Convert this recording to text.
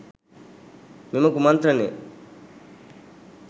මෙම කුමන්ත්‍රණය